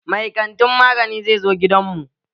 Mai kantin magani zai zo gidan mu.